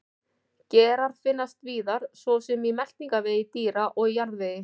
Gerar finnast víðar svo sem í meltingarvegi dýra og í jarðvegi.